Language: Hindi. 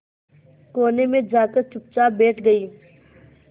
कोने में जाकर चुपचाप बैठ गई